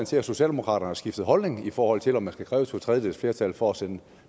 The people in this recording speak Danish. til at socialdemokraterne har skiftet holdning i forhold til om man skal kræve to tredjedeles flertal for at sende